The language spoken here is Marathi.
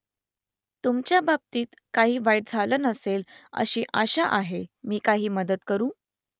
तुमच्या बाबतीत काही वाईट झालं नसेल अशी आशा आहे मी काही मदत करू ?